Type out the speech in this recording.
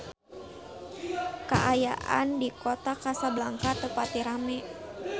Kaayaan di Kota Kasablanka teu pati rame